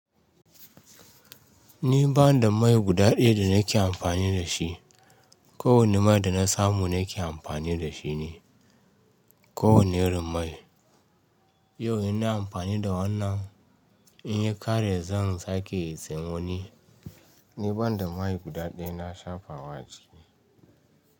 Ni ban da mai guda ɗaya da nake amfani da shi. Kowane mai da na samu nake amfani da shi ne, kowane irin mai. Yau ina amfani da wannan, in yi kare zan sake sayen wani. Ni ban da mai guda ɗaya na shafa wa jiki.